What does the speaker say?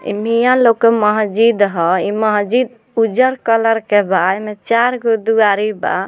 ई मियाँ लोग के मस्जिद ह ई मस्जिद उज्जर कलर के बा एमें चार गो दुआरी बा।